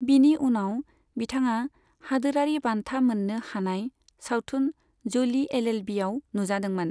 बिनि उनाव बिथाङा हादोरारि बान्था मोननो हानाय सावथुन ज'लि एलएलबिआव नुजादोंमोन।